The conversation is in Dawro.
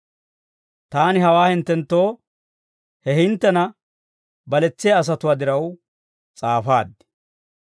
Taani hawaa hinttenttoo he hinttena baletsiyaa asatuwaa diraw s'aafaad.